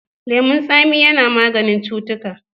Lemon tsami ya na maganin cutuka.